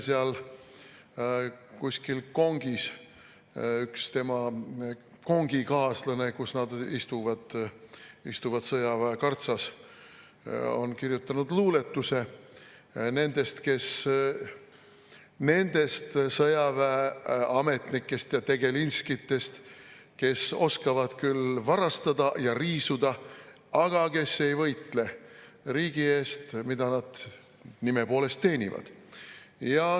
Seal kuskil kongis, kus nad istuvad – istuvad sõjaväe kartsas –, on üks tema kongikaaslane kirjutanud luuletuse nendest sõjaväeametnikest ja tegelinskitest, kes oskavad küll varastada ja riisuda, aga kes ei võitle riigi eest, mida nad nime poolest teenivad.